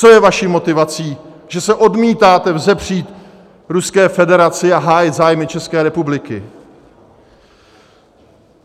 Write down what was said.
Co je vaší motivací, že se odmítáte vzepřít Ruské federaci a hájit zájmy České republiky?